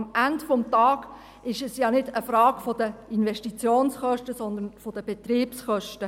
Denn am Ende des Tages ist es ja nicht eine Frage der Investitionskosten, sondern der Betriebskosten: